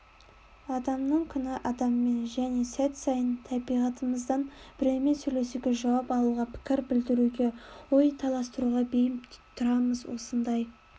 адамның күні адаммен және сәт сайын табиғатымыздан біреумен сөйлесуге жауап алуға пікір білдіруге ой таластыруға бейім тұрамыз осындай